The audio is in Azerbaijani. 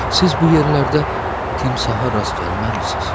Siz bu yerlərdə timsaha rast gəlməmisiniz?